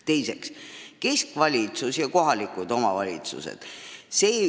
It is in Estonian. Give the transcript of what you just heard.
Teiseks: keskvalitsus ja kohalikud omavalitsused.